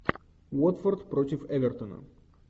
уотфорд против эвертона